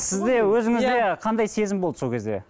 сізде өзіңізде қандай сезім болды сол кезде